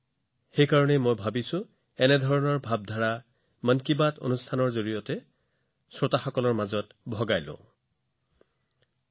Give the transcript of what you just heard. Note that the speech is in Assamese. গতিকে মই ভাবিছিলো যে মই ইয়াক মন কী বাতৰ শ্ৰোতাসকলৰ সৈতে ভাগ বতৰা কৰা উচিত